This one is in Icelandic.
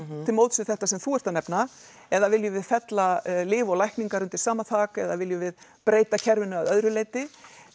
til móts við þetta sem þú ert að nefna eða viljum við fella lyf og lækningar undir sama þak eða viljum við breyta kerfinu að öðru leiti